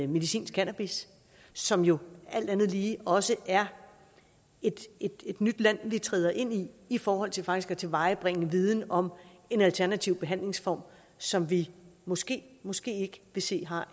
medicinsk cannabis som jo alt andet lige også er et nyt land vi træder ind i i forhold til faktisk at tilvejebringe viden om en alternativ behandlingsform som vi måske måske ikke vil se har